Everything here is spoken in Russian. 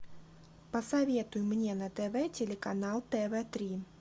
посоветуй мне на тв телеканал тв три